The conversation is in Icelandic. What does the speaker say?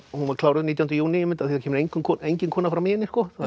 hún var kláruð nítjánda júní einmitt af því það kemur engin engin kona fram í henni